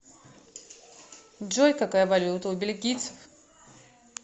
джой какая валюта у бельгийцев